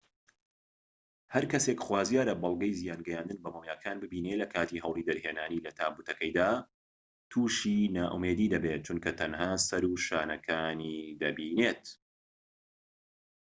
هەرکەسێك خوازیارە بەڵگەی زیان گەیاندن بە مۆمیاکان ببینێت لەکاتی هەوڵی دەرهێنانی لە تابوتەکەیدا توشی نائومێدی دەبێت چونکە تەنها سەر و شانەکانی دەبینێت